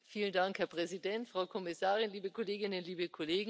Herr Präsident, Frau Kommissarin, liebe Kolleginnen, liebe Kollegen!